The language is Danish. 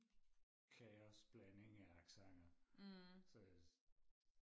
kaos blanding af accenter så